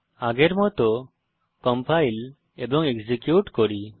আগের মত কম্পাইল এবং এক্সিকিউট করুন